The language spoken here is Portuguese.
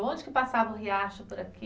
Onde que passava o riacho por aqui?